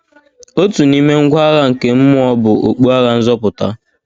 Otu n’ime ngwa agha nke mmụọ bụ “ okpu agha nzọpụta. ”